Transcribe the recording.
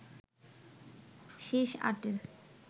শেষ আটের